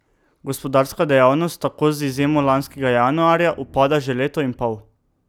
Gospodarska dejavnost tako z izjemo lanskega januarja upada že leto in pol.